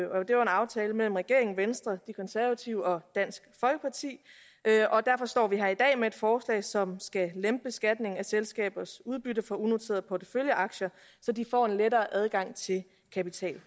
det var en aftale mellem regeringen venstre de konservative og dansk folkeparti og derfor står vi her i dag med et forslag som skal lempe beskatningen af selskabers udbytte for unoterede porteføljeaktier så de får lettere adgang til kapital